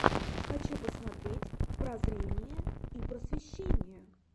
хочу посмотреть прозрение и просвещение